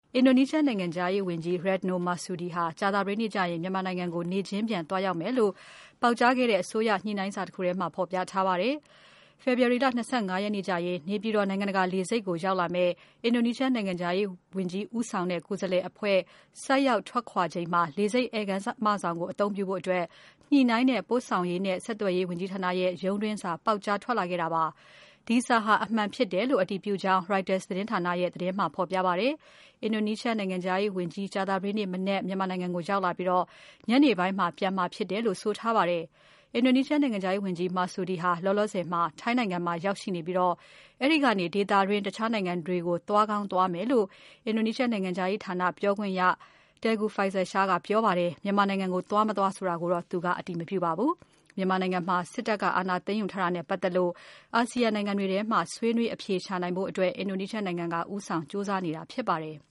အင်ဒိုနီးရှား နိုင်ငံခြားရေးဝန်ကြီး Retno Marsudi ဟာ ကြာသပတေးနေ့ကျရင် မြန်မာနိုင်ငံကို နေ့ချင်းပြန် သွားရောက်မယ်လို့ ပေါက်ကြားခဲ့တဲ့ အစိုးရညှိနှိုင်းစာတခုထဲမှာ ဖော်ပြထားပါတယ်။ ဖေဖော်ဝါရီလ ၂၅ ရက်နေ့ကျရင် နေပြည်တော် နိုင်ငံတကာလေဆိပ်ကို ရောက်လာမယ့် အင်ဒိုနီးရှား နိုင်ငံခြားရေးဝန်ကြီး ဦးဆောင်တဲ့ ကိုယ်စားလှယ် ဆိုက်ရောက်ထွက်ခွာချိန်မှာ လေဆိပ် ဧည့်ခန်းမဆောင်ကို အသုံးပြုဖို့အတွက် ညှိနှိုင်းတဲ့ ပို့ဆောင်ရေးနဲ့ ဝန်ကြီးဌာနရဲ့ ရုံးတွင်းစာ ပေါက်ကြားထွက်လာခဲ့တာပါ။ ဒီစာဟာ အမှန်ဖြစ်တယ်လို့ အတည်ပြုကြောင်း Reuters သတင်းဌာနရဲ့ သတင်းမှာ ဖော်ပြပါတယ်။ အင်ဒိုနီးရှားနိုင်ငံခြားရေးဝန်ကြီး ကြာသပတေးနေ့ မနက် မြန်မာနိုင်ငံကို ရောက်လာပြီးတော့ ညနေပိုင်းမှာ ပြန်မှာ ဖြစ်တယ်လို့ ဆိုထားပါတယ်။ အင်ဒိုနီးရှားဝန်ကြီး Marsudi ဟာ လောလောဆယ်မှာ ထိုင်းနိုင်ငံမှာ ရောက်ရှိနေပြီးတော့ အဲဒီကနေ ဒေသတွင်း တခြားနိုင်ငံတွေကို သွားကောင်းသွားမယ်လို့ အင်ဒိုနီးရှားနိုင်ငံခြားရေး ပြောခွင့်ရ Tengku Faizasyah ပြောပါတယ်။ မြန်မာနိုင်ငံကို သွားမသွားဆိုတာတော့ သူကအတည်မပြုပါဘူး။ မြန်မာနိုင်ငံမှာ စစ်တပ်က အာဏာသိမ်းယူထားတာနဲ့ ပတ်သက်လို့ အာဆီယံနိုင်ငံတွေထဲမှာ ဆွေးနွေး အဖြေရှာနိုင်ဖို့အတွက် အင်ဒိုနီးရှားနိုင်ငံက ဦးဆောင်ကြိုးစားနေတာဖြစ်ပါတယ်။